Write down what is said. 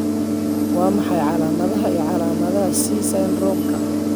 Waa maxay calaamadaha iyo calaamadaha C syndrome-ka?